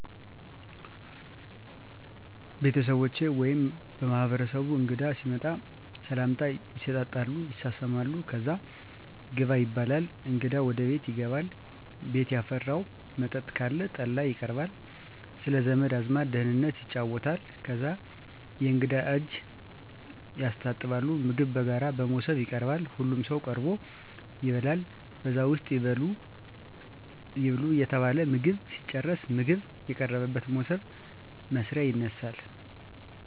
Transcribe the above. ቤተሠቦቸ ወይምበማህበረሰቡ እንግዳ ሲመጣ ሰላምታ ይሠጣጣሉ ይሳሳማሉ ከዛ ግባ ይባላል እንግዳው ወደ ቤት ይገባል ቤት ያፈራው መጠጥ ካለ ጠላይቀርባል ስለዘመድ አዝማድ ደህንነት ይጫወታል ከዛ የእንግዳ እጅ የስታጥባሉ ምግብ በጋራ በሞሰብ ይቀርባል ሁሉም ሠው ቀርቦ ይበላል በዛ ውስጥ ይብሉ እየተባለ ምግብ ሲጨረስ ምግብ የቀረበበት ሞሰብ (መስሪያ )ይነሳል።